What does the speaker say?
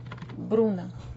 бруно